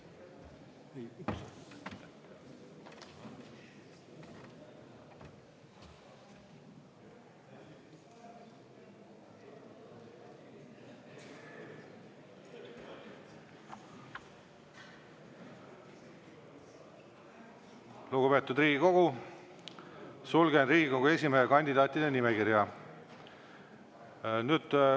Lugupeetud Riigikogu, sulgen Riigikogu esimehe kandidaatide nimekirja.